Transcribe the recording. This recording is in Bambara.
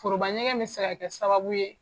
Foroba ɲɛgɛn bɛ se ka kɛ sababu ye